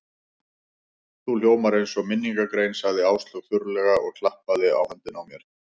Þú hljómar eins og minningargrein sagði Áslaug þurrlega og klappaði á höndina á mér.